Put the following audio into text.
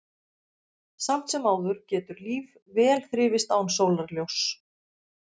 Samt sem áður getur líf vel þrifist án sólarljóss.